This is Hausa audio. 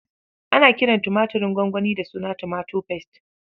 Ana kiran tumaturin gwangwani da suna Tomato Paste.